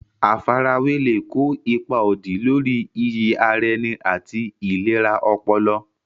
Àfarawé lè kó ipa òdì lórí iyì ara ẹni àti ìlera ọpọlọ.